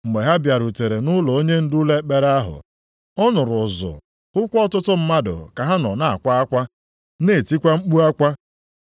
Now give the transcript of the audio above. Mgbe ha bịarutere nʼụlọ onyendu ụlọ ekpere ahụ, ọ nụrụ ụzụ hụkwa ọtụtụ mmadụ ka ha nọ na-akwa akwa na-etikwa mkpu akwa.